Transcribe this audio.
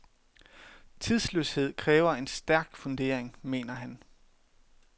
Tidsløshed kræver en stærk fundering, mener han.